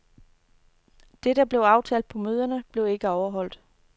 Det der blev aftalt på møderne, blev ikke overholdt.